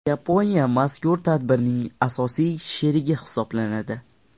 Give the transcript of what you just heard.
Yaponiya mazkur tadbirning asosiy sherigi hisoblanadi.